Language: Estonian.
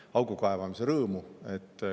– lihtsa augu kaevamise rõõmu.